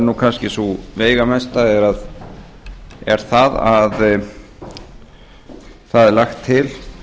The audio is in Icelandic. er kannski það veigamesta er að lagt er til